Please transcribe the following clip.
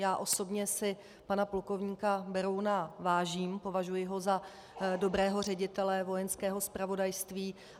Já osobně si pana plukovníka Berouna vážím, považuji ho za dobrého ředitele Vojenského zpravodajství.